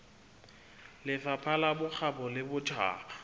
lefapha la bokgabo le botjhaba